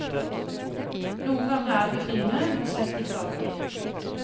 Noen ganger er det befriende, men slett ikke alltid.